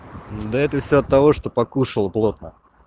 да это всё от того что покушал плотно